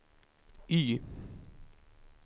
Y